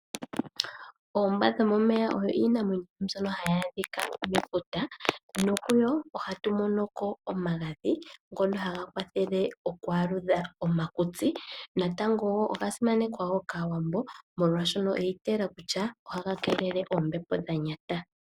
Oombwa dhomo meya oyo iinamwenyo mbyoka hayi adhika mefuta nokuyo ohatu mono ko omagadhi ngono haga kwathele okualudha omakutsi natango oga simanekwa kaawambo molwa shono oyi itayela kutya ohaga keelele oombepo dhanyata.